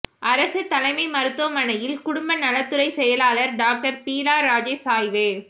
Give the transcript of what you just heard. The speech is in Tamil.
அரசு தலைமை மருத்துவமனையில் குடும்ப நலத்துறை செயலாளா் டாக்டா் பீலா ராஜேஷ் ஆய்வு